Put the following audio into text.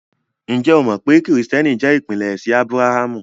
Njẹ́ ó mọ pé Kristiẹ́nìtì jẹ́ ìpínlẹ̀ ẹ̀ṣin Ábràhàmù?